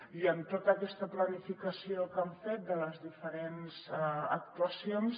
i en tota aquesta planificació que hem fet de les diferents actuacions